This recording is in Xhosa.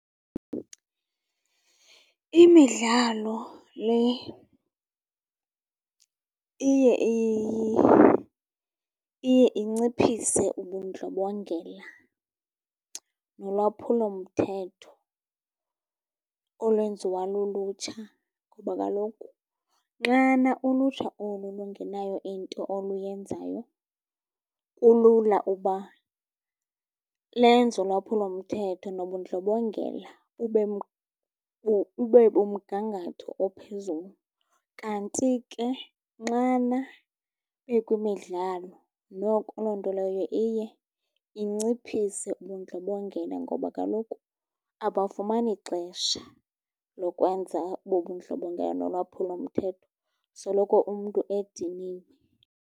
Imidlalo le iye iye inciphise ubundlobongela nolwaphulomthetho olwenziwa lulutsha, kuba kaloku nxana ulutsha olu lungenayo into oluyenzayo, kulula uba lenze ulwaphulomthetho nobundlobongela ube kumgangatho ophezulu. Kanti ke nxana bekwimidlalo noko loo nto leyo iye inciphise ubundlobongela, ngoba kaloku abafumani xesha lokwenza obo bundlobongela nolwaphulo mthetho. Soloko umntu ediniwe.